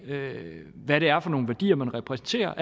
hvilke værdier man repræsenterer